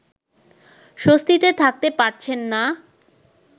স্বস্তিতে থাকতে পারছেন না